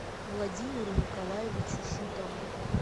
владимиру николаевичу шутову